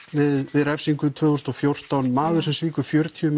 við refsingu tvö þúsund og fjórtán maður sem svíkur fjörutíu